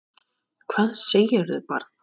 Hvað segirðu barn?